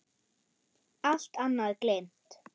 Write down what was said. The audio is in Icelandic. Allt annað gleymt.